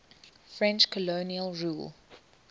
french colonial rule